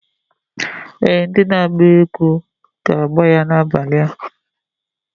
Ee! Ndị na-agba egwu na-agba egwu ga-agbà ya n'abalị a.